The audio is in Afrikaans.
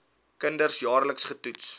kinders jaarliks getoets